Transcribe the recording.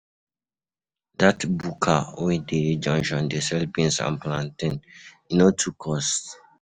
Dat buka wey dey junction dey sell beans and plantain, e no too cost.